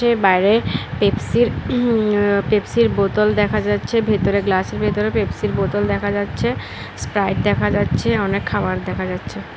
বাইরে পেপসির উঁহু পেপসির বোতল দেখা যাচ্ছে ভেতরে গ্লাসের ভেতরে পেপসির বোতল দেখা যাচ্ছে স্প্রাইট দেখা যাচ্ছে অনেক খাবার দেখা যাচ্ছে।